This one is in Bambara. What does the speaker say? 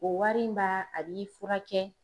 O wari in ba a b'i furakɛ.